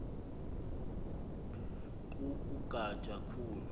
ku ugatya khulu